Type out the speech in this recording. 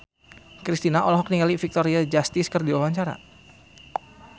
Kristina olohok ningali Victoria Justice keur diwawancara